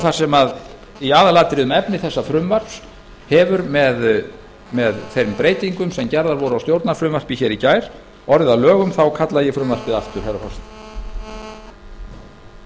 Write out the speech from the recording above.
þar sem í aðalatriðum efni þessa frumvarps hefur með þeim breytingum sem gerðar voru á stjórnarfrumvarpi í gær orðið að lögum þá kalla ég frumvarpið aftur herra forseti